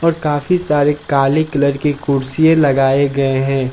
और काफी सारे काले कलर के कुर्सिये लगाए गए हैं।